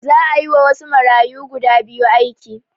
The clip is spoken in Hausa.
Za a yiwa wasu marayu guda biyu aiki